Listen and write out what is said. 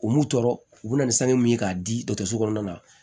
U m'u tɔɔrɔ u bɛ na ni sanu ye k'a di dɔgɔtɔrɔso kɔnɔna na